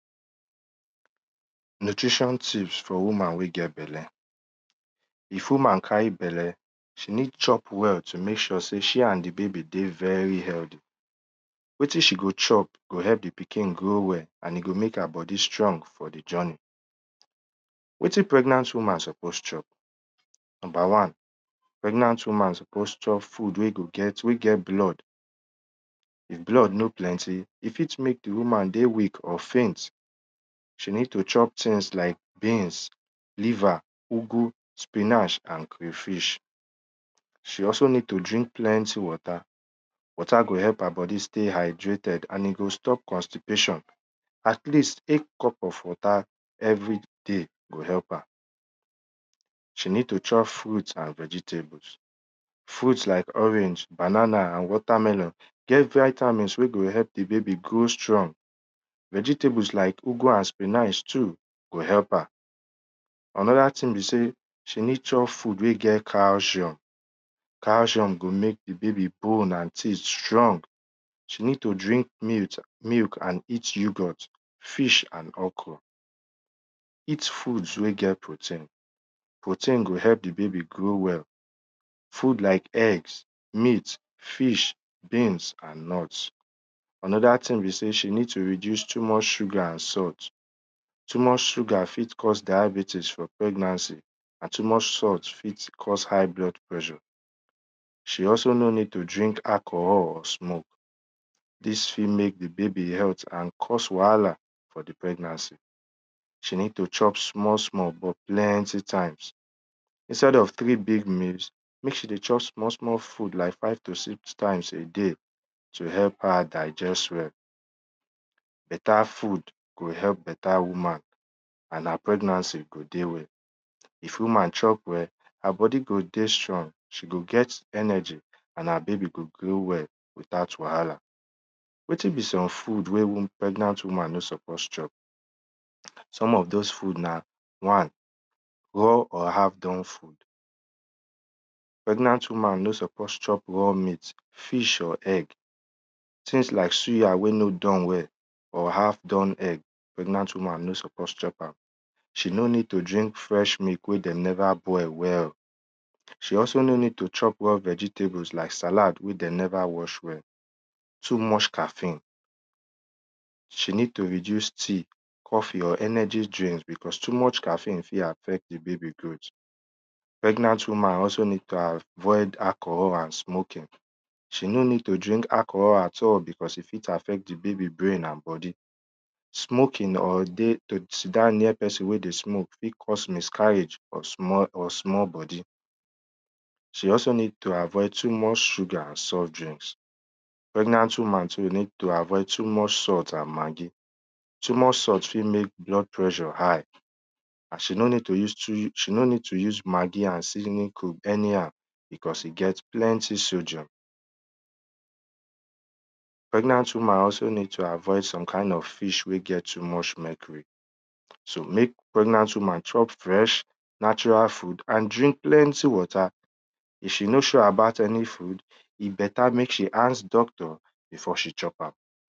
Nutrition tips for woman wey get belle if woman carry belle, she ned chop well to mek sure sey she and di baby healthy wetin she go cho go help di pikin grow well and e go mek her bodi strong for di journey. Wetin pregnant woman suppose chop number wan, pregnant woman suppose chop food wey get blood, if blood no plenty e fit mek di woman dey weak or faint, she fit chop things like beans, liver, ugwu sinach and crayfish. She also need to drink plenty water, water go help her bodi sty hydrated and e go stop constipation at least tek cup of water everyday gohelp her. She need to chop fruit and vegetable. Fruit like orange, banana and water melon get vitamins wey go help di baby dey strong. Vegetables like ugwu and spinach too go help am. Anoda thing b sey she need food wey get calcium. Cal[ cium go mek di baby bone strong, she need to drink milk, and eat yougot fish and okro. Eat food wey get protein protein go help di baby grow well. Foods like egg, meant, fih beans and nut, anoda thing be sey she needs to reduce too mch sugar and salt, too much sugar fit cause diabetics for pregnancy and too mych salt fit cause high blood pressure. She also no need to drink alchohol or smoke dis fit mek di babay health and cause wahala for di pregnancy. She nd to chop small small bt plenty times. Instead of three meas, mek she dey chop small small food like five to six times a day t help her digest well. Beta food go help beta woman and her pregnancy go dey well. If woman chop well, her bodi go dey strong, she go get energy and her baby go grow well without wahala. Wetin be some food wey pregnant woman no suppose chop some of those food na one raw of half done food, pregnant woman nonsuppose chop raw meat, fish or egg,’ things like suya wey no doe well, or half done egg, pregnant woman no suppose chop am, she no ned to drink fresh milk wey dem neva boil well, she also no need to chop raw vegtables wey de neva wash well like salad. Too much caffin. She need to reduce tea, coffee or energy drink because too much caffin fit adffect di baby. Pregnant woman must avoid alcohol and smoking, she no ned to drink alcohol at all because e fit affect di baby brain and bodi. Smoking or to sit down where pesin dey smoke fit cause miscarriage or small bodi. She need to avoid too much salt and maggi. Too much salt fit mek blood pressure hight and she nor ned to use maggia and seasoning cube anyhow because e get plenty sodium. Pregnant woman also need to avoid some kind of fish wey get too much mecury, so mek pregnant woman chop fresh natural food and drink plenty water. If she no sure aboutany food, e beta mek she ask doctor before she chop am.